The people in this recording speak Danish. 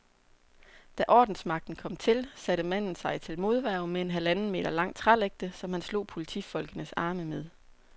Da ordensmagten kom til, satte manden sig til modværge med en halvanden meter lang trælægte, som han slog politifolkenes arme med.